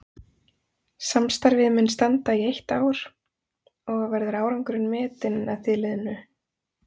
Samstarfið mun standa í eitt ár og verður árangurinn metinn að því liðnu.